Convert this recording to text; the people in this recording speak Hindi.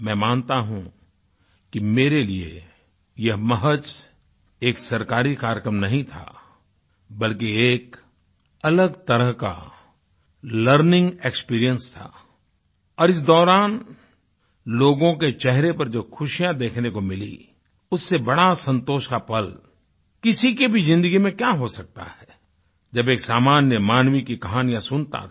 मैं मानता हूँ कि मेरे लिए यह महज एक सरकारी कार्यक्रम नहीं था बल्कि यह एक अलग तरह का लर्निंग एक्सपीरियंस था और इस दौरान लोगों के चेहरे पर जो खुशियाँ देखने को मिली उससे बड़ा संतोष का पल किसी की भी ज़िन्दगी में क्या हो सकता है जब एक सामान्य मानवीमानव की कहानियाँ सुनता था